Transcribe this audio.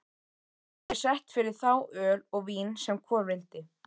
Er sett fyrir þá öl og vín sem hvor vildi.